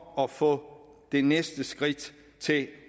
at få det næste skridt til